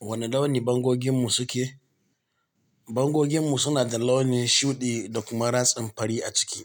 Wani launi bangoginmu suke? Bangoginmu suna da launin shuɗi da kuma ratsin fari a ciki.